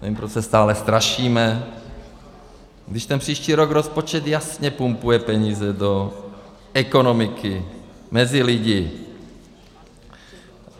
Nevím, proč se stále strašíme, když ten příští rok rozpočet jasně pumpuje peníze do ekonomiky, mezi lidi.